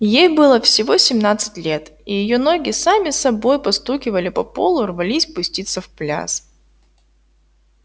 ей было всего семнадцать лет и её ноги сами собой постукивали по полу рвались пуститься в пляс